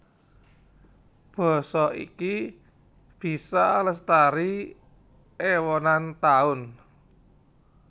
Basa iki bisa lestari èwonan taun